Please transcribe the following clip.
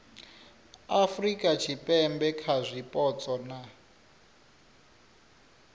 afurika tshipembe kha zwipotso na